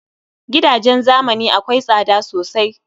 Gidajen zamani akwai tsada sosai